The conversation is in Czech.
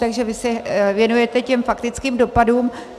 Takže vy se věnujete těm faktickým dopadům.